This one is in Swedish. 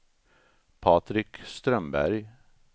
Patrik Strömberg